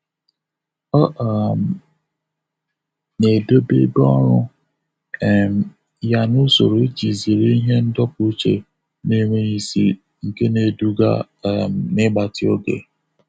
Ọ um na-edobe ebe ọrụ um ya n'usoro iji zere ihe ndọpụ uche na-enweghị isi nke na-eduga um n'igbatị oge.